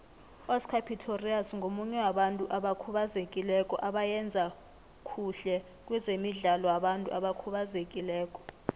uoscar pistorius ngomunye wabantu abakhubazekileko abayenza khuhle kwezemidlalo wabantu abakhubazekileko